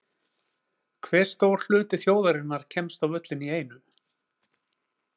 Hve stór hluti þjóðarinnar kemst á völlinn í einu?